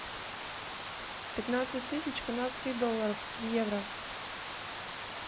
пятнадцать тысяч канадских долларов в евро